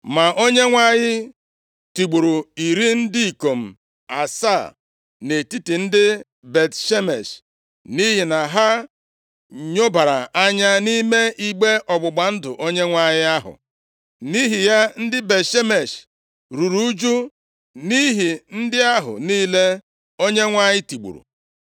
Ma Onyenwe anyị tigburu iri ndị ikom asaa nʼetiti ndị Bet-Shemesh nʼihi na ha nyobara anya nʼime igbe ọgbụgba ndụ Onyenwe anyị ahụ. Nʼihi ya ndị Bet-Shemesh ruru ụjụ nʼihi ndị ahụ niile Onyenwe anyị tigburu.